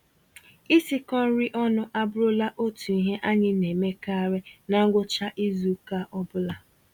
Isikọ-nri-ọnụ abụrụla otu ihe anyị naemekarị na ngwụcha izuka ọbula